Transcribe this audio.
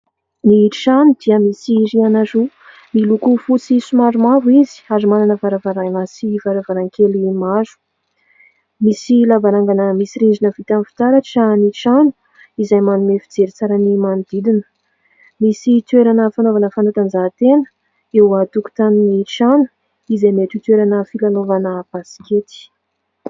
Ny trano dia misy rihana roa. Miloko fotsy somary mavo ary manana varavarana sy varavarankely maro. Misy lavarangana misy rindrina vita amin'ny fitaratra ny trano izay manome fijery tsara ny manodidina. Misy toerana fanaovana fanatanjahantena eo an-tokotanin'ny trano izay mety ho toerana filalaovana baskety.